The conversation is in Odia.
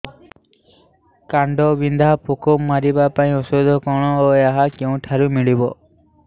କାଣ୍ଡବିନ୍ଧା ପୋକ ମାରିବା ପାଇଁ ଔଷଧ କଣ ଓ ଏହା କେଉଁଠାରୁ ମିଳିବ